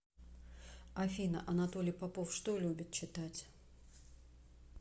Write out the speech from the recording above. афина анатолий попов что любит читать